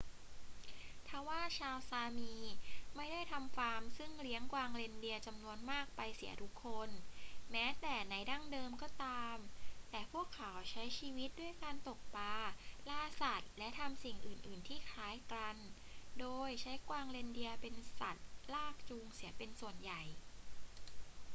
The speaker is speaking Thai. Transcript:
ทว่าชาวซามีไม่ได้ทำฟาร์มซึ่งเลี้ยงกวางเรนเดียร์จำนวนมากไปเสียทุกคน แม้แต่ในดั้งเดิมก็ตาม แต่พวกเขาใช้ชีวิตด้วยการตกปลา ล่าสัตว์ และทำสิ่งอื่น ๆ ที่คล้ายกัน โดยใช้กวางเรนเดียร์เป็นสัตว์ลากจูงเสียเป็นส่วนใหญ่